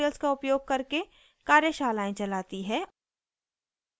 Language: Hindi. spoken tutorials का उपयोग करके कार्यशालाएं चलाती है